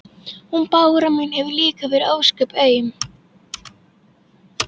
Hún Bára mín hefur líka verið ósköp aum.